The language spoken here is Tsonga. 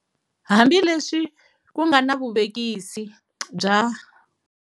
Hambi leswi ku nga na vuvekisi bya.